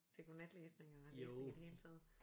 Til godnatlæsning eller læsning i det hele taget